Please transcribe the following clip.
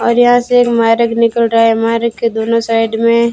और यहां से एक मार्ग निकल रहा है मार्ग के दोनों साइड में--